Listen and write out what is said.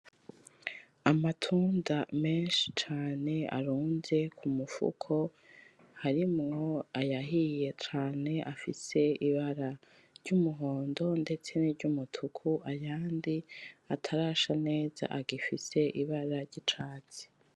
Amatunda menshi cane arunze kumufuko, harimwo ayahiye cane afise Ibara ry'umuhondo ndetse niry'umutuku, ayandi atarasha neza agifise Ibara ry'icatsi.